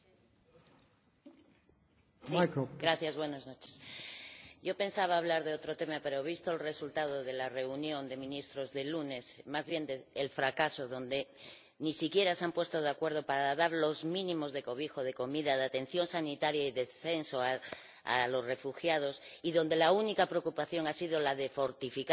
Señor Presidente, yo pensaba hablar de otro tema, pero he visto el resultado de la reunión de ministros del lunes —más bien el fracaso—, en la que ni siquiera se han puesto de acuerdo para dar los mínimos de cobijo, de comida, de atención sanitaria y de censo a los refugiados, y en la que la única preocupación ha sido la de fortificar fronteras